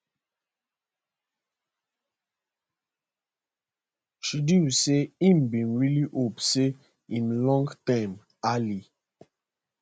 trudeau say e bin really hope say im long term ally